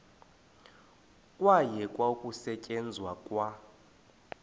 kwayekwa ukusetyenzwa kwa